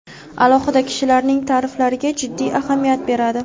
alohida kishilarning ta’riflariga jiddiy ahamiyat beradi.